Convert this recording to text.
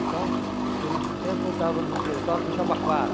Então, durante um tempo eu estava no diretório do Jabaquara.